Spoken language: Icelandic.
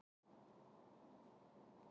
Reglur um öryggi á sundstöðum hertar